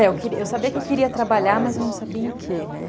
É, eu sabia que eu queria trabalhar, mas eu não sabia em que, né?